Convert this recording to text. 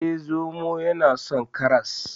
Eh, zomo yana son karas.